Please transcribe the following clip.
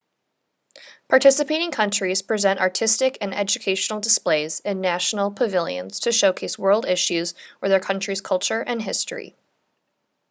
participating countries present artistic and educational displays in national pavilions to showcase world issues or their country's culture and history